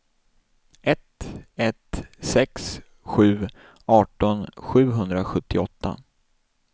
ett ett sex sju arton sjuhundrasjuttioåtta